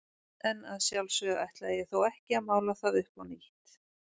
En að sjálfsögðu ætlaði ég þó ekki að mála það upp á nýtt.